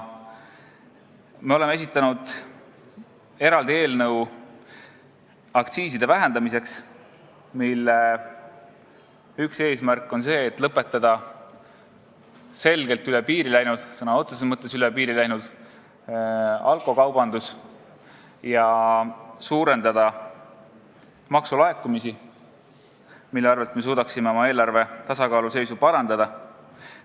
Me oleme esitanud eraldi eelnõu aktsiiside vähendamiseks, mille üks eesmärk on lõpetada selgelt üle piiri läinud – ka sõna otseses mõttes üle piiri läinud – alkokaubandus ja suurendada maksulaekumisi, mille abil me suudaksime oma eelarve tasakaalu suurendada.